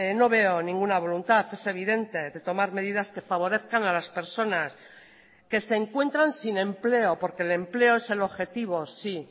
no veo ninguna voluntad es evidente de tomar medidas que favorezcan a las personas que se encuentran sin empleo porque el empleo es el objetivo sí